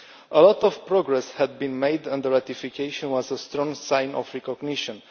A lot of progress had been made, and the ratification was a strong sign of recognition.